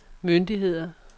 myndigheder